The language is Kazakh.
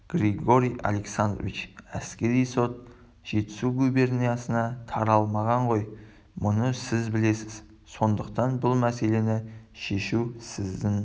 георгий александрович әскери сот жетісу губерниясына таралмаған ғой мұны сіз білесіз сондықтан бұл мәселені шешу сіздің